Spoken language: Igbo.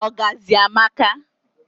ọgazị amaka